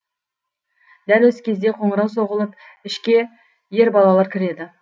дәл осы кезде қоңырау соғылып ішке ер балалар кіреді